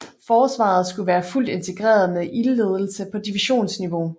Forsvaret skulle være fuldt integreret med ildledelse på divisionsniveau